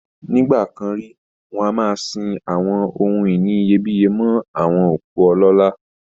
Nígbà kan rí, wọn a máa sin àwọn ohun ìní iyebíyé mọ́ àwọn òkú ọlọ́lá